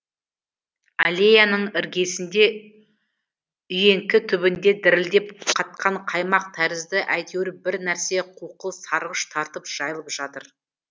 аллеяның іргесінде үйеңкі түбінде дірілдеп қатқан қаймақ тәрізді әйтеуір бір нәрсе қуқыл сарғыш тартып жайылып жатыр